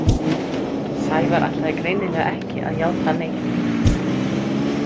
Sævar ætlaði greinilega ekki að játa neitt.